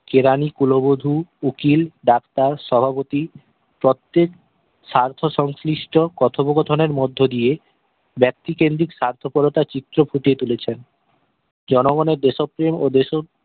কেরানি কুলোবধু উকিল ডাক্তার সভাপতি তথ্যের স্বার্থসংশ্লিষ্ট কোথোপোকোথোনের মধ্যে দিয়ে ব্যক্তিকেন্দ্রিক স্বার্থ পোরোতা চিত্র ফুটিয়ে তুলেছেন জনগনের দেশপ্রেম ও দেশো